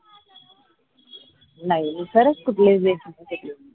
नाई खरंच कुठलेच rate माहिती नाही